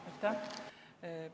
Aitäh!